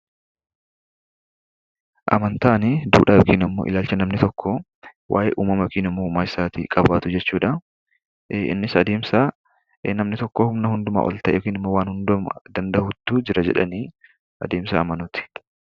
Amantaan dudhaa yookiin immoo ilaalcha namni tokko waa'ee umamaa yookiin immoo uumaa isaatii qabaatu jechuudha. Innis adeemsa namni tokko humna hunduma ol ta'e yookiin immoo waan hundumaa danda'utu jira jedhanii adeemsa amanuuti.